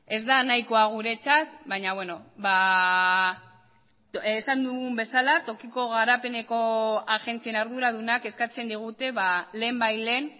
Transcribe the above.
ez da nahikoa guretzat baina beno esan dugun bezala tokiko garapeneko agentzien arduradunak eskatzen digute lehenbailehen